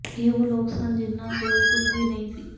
ਇਹ ਉਹ ਲੋਕ ਸਨ ਜਿਨ੍ਹਾਂ ਕੋਲ ਕੁਝ ਵੀ ਨਹੀਂ ਸੀ